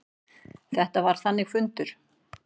Þetta var þannig fundur.